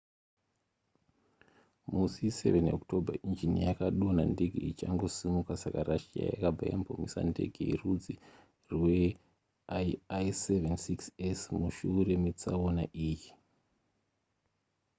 musi 7 october injini yakadonha ndege ichingosimuka saka russia yakabva yambomisa ndege yerudzi rweil-76s mushure metsaona iyi